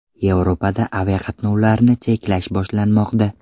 Yevropada aviaqatnovlarni cheklash boshlanmoqda.